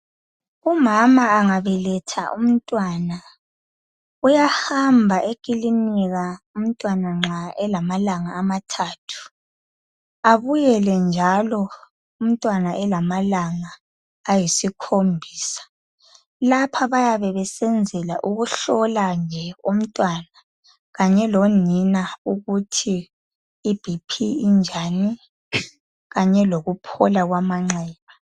Umama angabeletha umntwana uyahamba e clinika umntwana nxa elama langa amathathu, abuyele njalo umntwana elamalanga ayisikhombisa. Lapha bayabe besenzela ukuhlola nje umntwana kanye lonina ukuthi i Bp injani kanye lokuphola kwamanxeba.